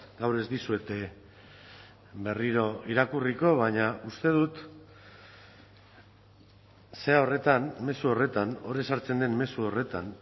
gaur ez dizuet berriro irakurriko baina uste dut zera horretan mezu horretan hor ezartzen den mezu horretan